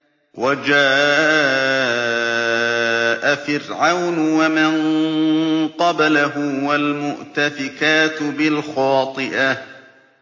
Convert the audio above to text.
وَجَاءَ فِرْعَوْنُ وَمَن قَبْلَهُ وَالْمُؤْتَفِكَاتُ بِالْخَاطِئَةِ